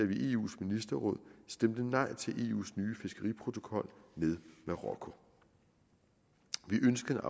vi i eus ministerråd stemte nej til eus nye fiskeriprotokol med marokko vi ønskede